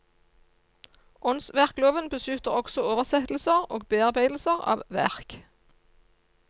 Åndsverkloven beskytter også oversettelser og bearbeidelser av verk.